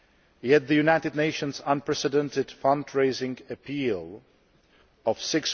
Yet the United Nations' unprecedented fundraising appeal of EUR